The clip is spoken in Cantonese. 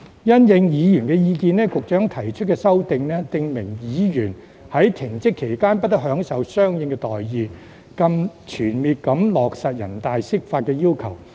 因應議員意見，局長提出修正案，訂明議員在停職期間"不得享受相應待遇"，更全面落實人大釋法要求。